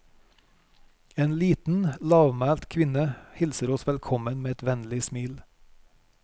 En liten, lavmælt kvinne hilser oss velkommen med et vennlig smil.